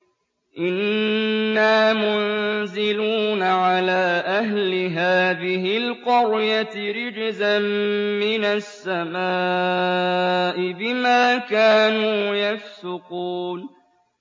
إِنَّا مُنزِلُونَ عَلَىٰ أَهْلِ هَٰذِهِ الْقَرْيَةِ رِجْزًا مِّنَ السَّمَاءِ بِمَا كَانُوا يَفْسُقُونَ